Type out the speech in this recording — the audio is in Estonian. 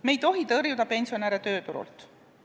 Me ei tohi pensionäre tööturult tõrjuda.